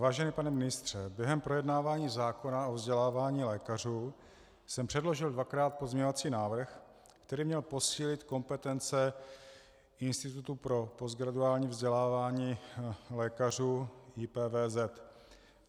Vážený pane ministře, během projednávání zákona o vzdělávání lékařů jsem předložil dvakrát pozměňovací návrh, který měl posílit kompetence Institutu pro postgraduální vzdělávání lékařů, IPVZ.